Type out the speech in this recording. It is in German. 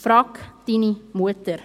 Frag’ deine Mutter!